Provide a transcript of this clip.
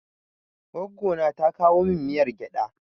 Goggo na ta kowa min miyar gyaɗa.